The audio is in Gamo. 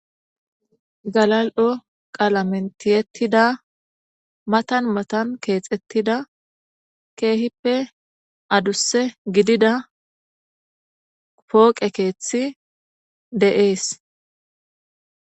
Galal'o qaalameni tiyettida mattan mattan kexxetidda kehippe adusssa giddida poqqe keththey de'ess